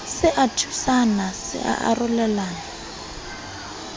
se a thusana se arolelana